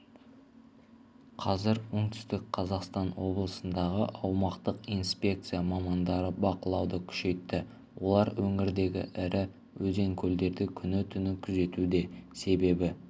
қазір оңтүстік қазақстан облысындағы аумақтық инспекция мамандары бақылауды күшейтті олар өңірдегі ірі өзен-көлдерді күні-түні күзетуде себебі